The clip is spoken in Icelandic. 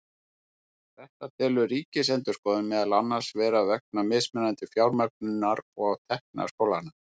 Þetta telur Ríkisendurskoðun meðal annars vera vegna mismunandi fjármögnunar og tekna skólanna.